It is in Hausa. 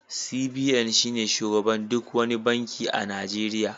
CBN shine shugaban duk wani banki a Najeriya